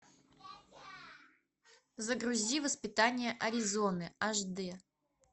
загрузи воспитание аризоны аш дэ